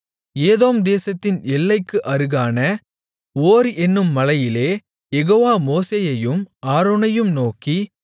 ஏதோம் தேசத்தின் எல்லைக்கு அருகான ஓர் என்னும் மலையிலே யெகோவா மோசேயையும் ஆரோனையும் நோக்கி